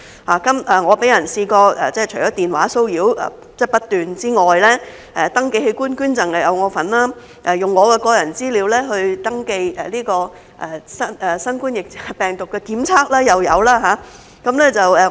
我除了被人不斷電話騷擾之外，登記器官捐贈又有我的份兒，用我的個人資料登記新型冠狀病毒檢測又有。